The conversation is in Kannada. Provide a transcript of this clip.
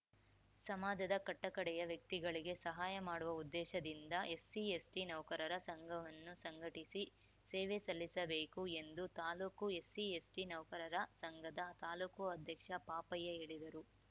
ಸಮಾಜದ ಕಟ್ಟಕಡೆಯ ವ್ಯಕ್ತಿಗಳಿಗೆ ಸಹಾಯ ಮಾಡುವ ಉದ್ದೇಶ ದಿಂದ ಎಸ್‌ಸಿ ಎಸ್‌ಟಿ ನೌಕರರ ಸಂಘವನ್ನು ಸಂಘಟಿಸಿ ಸೇವೆ ಸಲ್ಲಿಸಬೇಕು ಎಂದು ತಾಲೂಕು ಎಸ್‌ಸಿ ಎಸ್‌ಟಿ ನೌಕರರ ಸಂಘದ ತಾಲೂಕು ಅಧ್ಯಕ್ಷ ಪಾಪಯ್ಯ ಹೇಳಿದರು